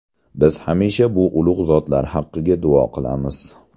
Biz hamisha bu ulug‘ zotlar haqqiga duo qilamiz.